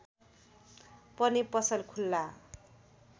पनि पसल खुल्ला